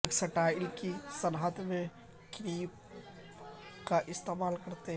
textile کی صنعت میں کریپ کا استعمال کرتے ہوئے